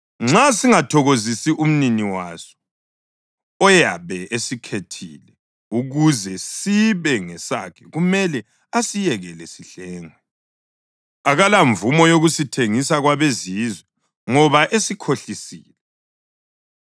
Nxa singathokozisi umnini waso oyabe esikhethile ukuze sibe ngesakhe kumele asiyekele sihlengwe. Akalamvumo yokusithengisa kwabezizwe, ngoba esikhohlisile.